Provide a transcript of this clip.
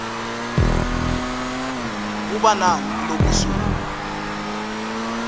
kuba nani kulobusuku